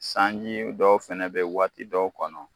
Sanji dɔw fɛnɛ bɛ waati dɔw kɔnɔ